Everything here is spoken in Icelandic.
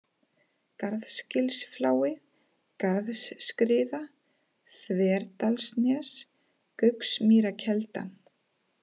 Garðsgilsflái, Garðsskriða, Þverdalsnes, Gauksmýrarkelda